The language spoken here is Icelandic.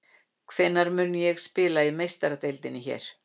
Hvenær mun ég spila í Meistaradeildinni hér?